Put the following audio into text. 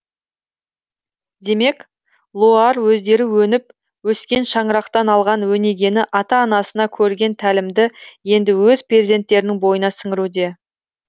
демек лоар өздері өніп өскен шаңырақтан алған өнегені ата анасына көрген тәлімді енді өз перзенттерінің бойына сіңіруде